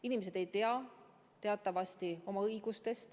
Inimesed ei tea teatavasti oma õigusi.